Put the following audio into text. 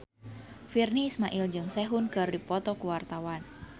Virnie Ismail jeung Sehun keur dipoto ku wartawan